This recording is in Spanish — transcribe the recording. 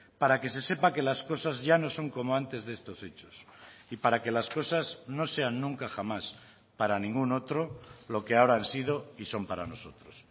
para que se sepa que las cosas ya no son como antes de estos hechos y para que las cosas no sean nunca jamás para ninguno otro lo que ahora han sido y son para nosotros